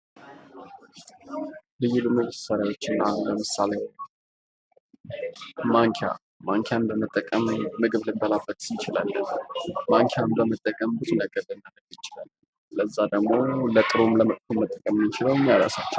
ልዩ ልዩ መሳሪያዎች ለምሳሌ ማንኪያ ማንኪያን በመጠቀም ምግብ ልንበላበት እንችላለን ማንኪያን በመጠቀም ብዙ ነገር ልናረግ እንችላለን ለዛ ደሞ ለጥሩም ለመጥ፟ፎም መጠቀም የምንችለው ራሳችን ነን።